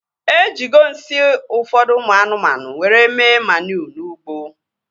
Ejigo nsị ụfọdụ ụmụ anụmanụ were mee maniu n'ugbo